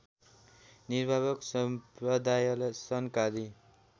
निम्बार्क सम्प्रदायलाई सनकादि